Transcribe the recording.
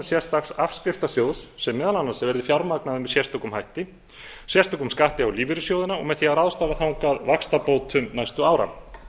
sérstakt afskriftasjóðs sem meðal annars verði fjármagnaður með sérstökum hætti sérstökum skatti á lífeyrissjóðina og með því að ráðstafa þangað vaxtabótum næstu ára